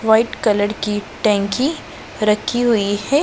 White colour की टंकी रखी हुई है।